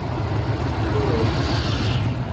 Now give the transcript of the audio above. Gospod?